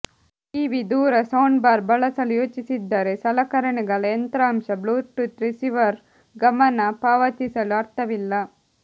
TV ದೂರ soundbar ಬಳಸಲು ಯೋಚಿಸಿದ್ದರೆ ಸಲಕರಣೆಗಳ ಯಂತ್ರಾಂಶ ಬ್ಲೂಟೂತ್ ರಿಸೀವರ್ ಗಮನ ಪಾವತಿಸಲು ಅರ್ಥವಿಲ್ಲ